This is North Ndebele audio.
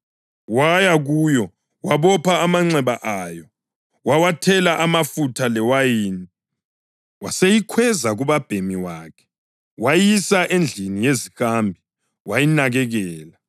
Waya kuyo, wabopha amanxeba ayo, wawathela amafutha lewayini. Waseyikhweza kubabhemi wakhe, wayisa endlini yezihambi, wayinakekela.